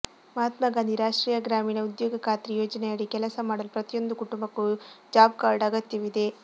ಮಹಾತ್ಮಗಾಂಧಿ ರಾಷ್ಟ್ರೀಯ ಗ್ರಾಮೀಣ ಉದ್ಯೋಗ ಖಾತ್ರಿ ಯೋಜನೆಯಡಿ ಕೆಲಸ ಮಾಡಲು ಪ್ರತಿಯೊಂದು ಕುಟುಂಬಕ್ಕೂ ಜಾಬ್ಕಾರ್ಡ್ ಅಗತ್ಯವಿದೆ